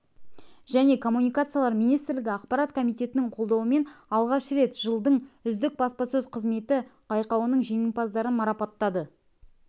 және коммуникациялар министрлігі ақпарат комитетінің қолдауымен алғаш рет жылдың үздік баспасөз қызметі байқауының жеңімпаздарын марапаттады